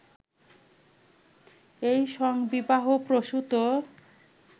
এই সংঘবিবাহ-প্রসূত